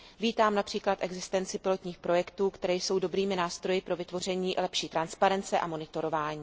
Vítám například existenci pilotních projektů, které jsou dobrými nástroji pro vytvoření lepší transparence a monitorování.